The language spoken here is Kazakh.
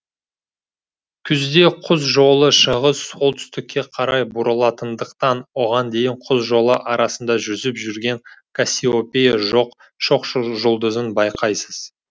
күзде құс жолы шығыс солтүстікке қарай бұрылатындықтан оған дейін құс жолы арасында жүзіп жүрген кассиопея жоқ шоқжұлдызын байқайсыз